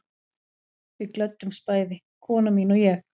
Við glöddumst bæði, kona mín og ég